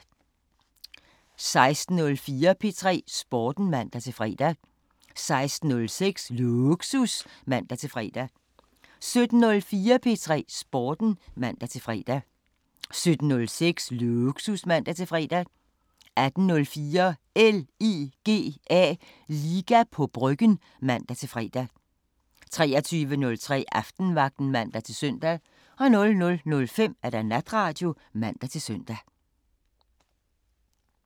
16:04: P3 Sporten (man-fre) 16:06: Lågsus (man-fre) 17:04: P3 Sporten (man-fre) 17:06: Lågsus (man-fre) 18:04: LIGA på Bryggen (man-fre) 23:03: Aftenvagten (man-søn) 00:05: Natradio (man-søn)